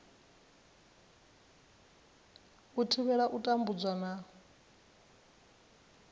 u thivhela u tambudzwa na